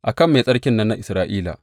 A kan Mai Tsarkin nan na Isra’ila!